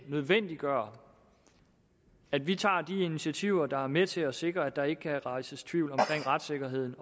nødvendiggør at vi tager de initiativer der er med til at sikre at der ikke kan rejses tvivl om retssikkerheden